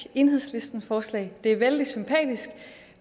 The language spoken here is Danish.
enhedslisteforslag det er vældig sympatisk